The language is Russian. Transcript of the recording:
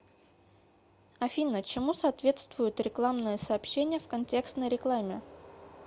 афина чему соответствуют рекламные сообщения в контекстной рекламе